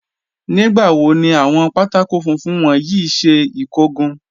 Nígbàwò ni awọn pátákọ̀ fúnfún wọn yí ṣẹ ikógun?